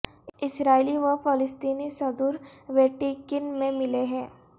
اسرائیلی و فلسطینی صدور ویٹی کن میں ملیں گے